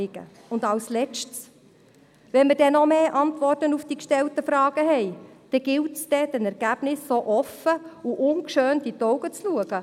Ein Letztes: Wenn wir dann noch mehr Antworten auf die gestellten Fragen haben, dann gilt es, die Ergebnisse offen und ungeschönt zur Kenntnis zu nehmen.